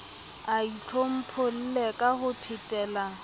a itlhompholle ka ho phetela